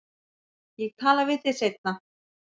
Ég tala við þig seinna.